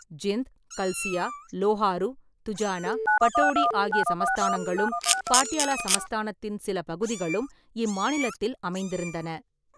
ஜிந்த், கல்சியா, லோஹாரு, துஜானா, பட்டோடி ஆகிய சமஸ்தானங்களும் பாட்டியாலா சமஸ்தானத்தின் சில பகுதிகளும் இம்மாநிலத்தில் அமைந்திருந்தன.